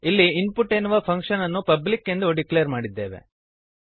ಇಲ್ಲಿ ಇನ್ಪುಟ್ ಎನ್ನುವ ಫಂಕ್ಶನ್ ಅನ್ನು ಪಬ್ಲಿಕ್ ಎಂದು ಡಿಕ್ಲೇರ್ ಮಾಡಿದ್ದೇವೆ